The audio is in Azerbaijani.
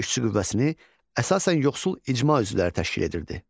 Belə işçi qüvvəsini əsasən yoxsul icma üzvləri təşkil edirdi.